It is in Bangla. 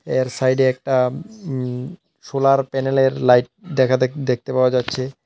এর সাইডে একটা উম সোলার প্যানেলের লাইট দেখা দেখ দেখতে পাওয়া যাচ্ছে।